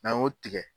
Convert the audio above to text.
N'an y'o tigɛ